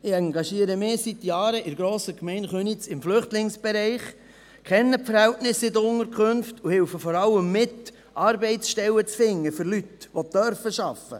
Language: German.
Ich engagiere mich seit Jahren in der grossen Gemeinde Köniz im Flüchtlingsbereich, kenne die Verhältnisse den Unterkünften und helfe vor allem mit, Arbeitsstellen für Leute zu finden, die arbeiten dürfen.